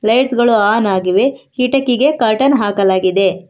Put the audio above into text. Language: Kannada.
ಲೈಟ್ಸ್ ಗಳು ಆನ್ ಆಗಿವೆ ಕಿಟಕಿಗೆ ಕರ್ಟನ್ ಹಾಕಲಾಗಿದೆ.